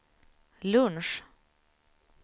lunch